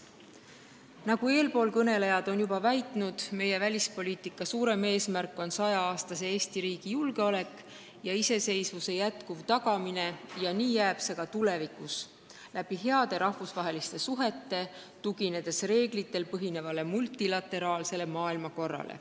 Nagu eelkõnelejad on juba väitnud, on meie välispoliitika suurem eesmärk 100-aastase Eesti riigi julgeolek ja iseseisvuse jätkuv tagamine – ja nii jääb see ka tulevikus – heade rahvusvaheliste suhete kaudu, tuginedes reeglitel põhinevale multilateraalsele maailmakorrale.